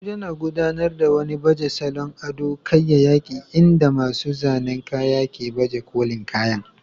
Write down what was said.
Abuja, na gudanar da wani baje salon ado kayyayaki inda masu zanen kaya ke baje kolin kayan